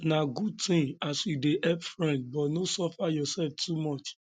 na good tin as you dey help friend but no suffer yoursef too much